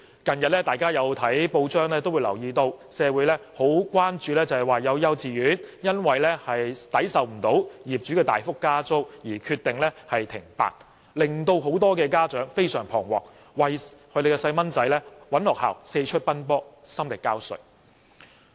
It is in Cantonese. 大家近日從報章得悉，社會十分關注有幼稚園因承受不了業主大幅加租而決定停辦，致令很多家長非常彷徨，並為子女另覓學校而四出奔波，心力交瘁。